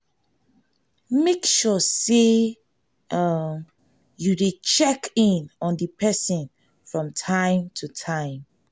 make sure say um you de check in on di persin from time to time